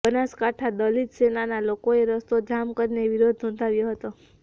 બનાસકાંઠા દલિત સેનાના લોકોએ રસ્તો જામ કરીને વિરોધ નોંધાવ્યો હતો